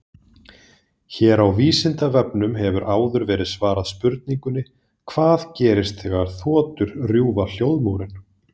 Hér á Vísindavefnum hefur áður verið svarað spurningunni Hvað gerist þegar þotur rjúfa hljóðmúrinn?